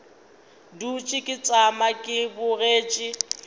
dutše ke tšama ke bogetše